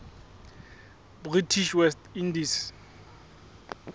british west indies